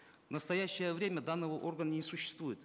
в настоящее время данного органа не существует